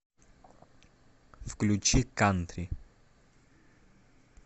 включи кантри